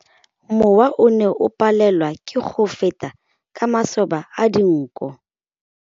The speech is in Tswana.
Mowa o ne o palelwa ke go feta ka masoba a dinko.